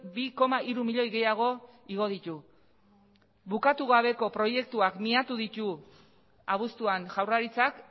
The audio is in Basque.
bi koma hiru milioi gehiago igo ditu bukatu gabeko proiektuak miatu ditu abuztuan jaurlaritzak